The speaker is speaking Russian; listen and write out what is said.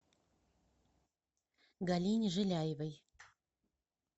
галине жиляевой